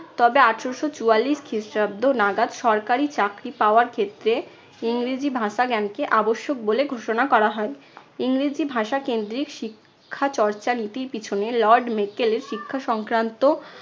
তবে আঠারশো চুয়াল্লিশ খ্রিস্টাব্দ নাগাদ সরকারি চাকরি পাওয়ার ক্ষেত্রে ইংরেজি ভাষা-জ্ঞানকে আবশ্যক বলে ঘোষণা করা হয়। ইংরেজি ভাষা কেন্দ্রিক শিক্ষা চর্চা নীতির পিছনে lord মেকেলের শিক্ষা সংক্রান্ত